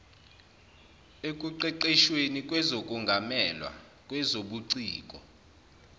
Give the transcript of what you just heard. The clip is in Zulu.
ekuqeqeshweni kwezokungamelwa kwezobuciko